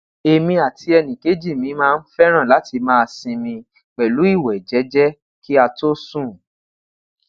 emi ati ẹnikeji mi maa n fẹran lati maa sinmi pẹlu iwẹ jẹjẹ ki a to sun